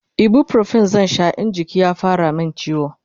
ibuprofen zan Sha in jiki ya fara min ciwo